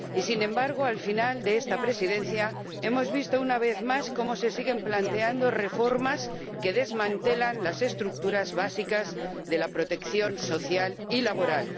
Y, sin embargo, al final de esta Presidencia hemos visto, una vez más, cómo se siguen planteando reformas que desmantelan las estructuras básicas de la protección social y laboral.